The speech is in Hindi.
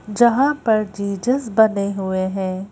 जहां पर जीजस बने हुए हैं।